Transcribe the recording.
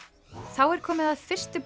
þá er komið að fyrstu